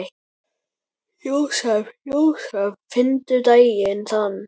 Jósep, Jósep, nefndu daginn þann.